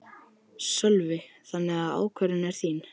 Sölvi: Þannig að ákvörðunin er þín?